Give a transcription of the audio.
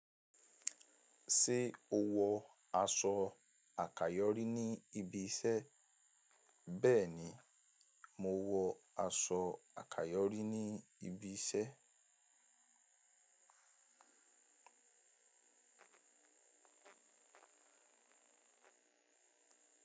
Ṣé o wọ aṣọ àkayòrí ní ibi iṣẹ́? Bẹ́ẹ̀ni, mo wọ aṣọ àkayòrí ní ibi iṣẹ́.